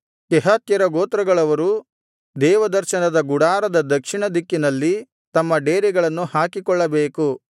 ಕೆಹಾತ್ಯರ ಗೋತ್ರಗಳವರು ದೇವದರ್ಶನದ ಗುಡಾರದ ದಕ್ಷಿಣ ದಿಕ್ಕಿನಲ್ಲಿ ತಮ್ಮ ಡೇರೆಗಳನ್ನು ಹಾಕಿಕೊಳ್ಳಬೇಕು